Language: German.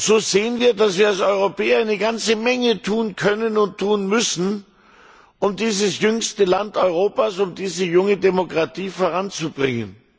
So sehen wir, dass wir als Europäer eine ganze Menge tun können und tun müssen, um dieses jüngste Land Europas, diese junge Demokratie voranzubringen.